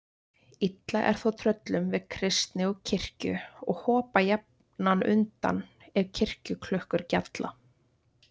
Illa er þó tröllum við kristni og kirkjur og hopa jafnan undan ef kirkjuklukkur gjalla.